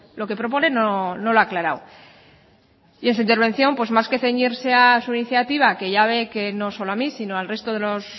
lo que propone no lo ha aclarado y en su intervención más que ceñirse a su iniciativa que ya ve que no solo a mí sino al resto de los